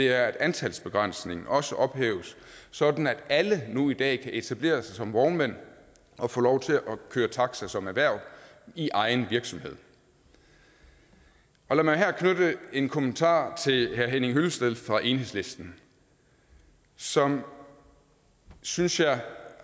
er at antalsbegrænsningen også ophæves sådan at alle nu i dag kan etablere sig som vognmænd og få lov til at køre taxa som erhverv i egen virksomhed lad mig her knytte en kommentar til herre henning hyllested fra enhedslisten som synes jeg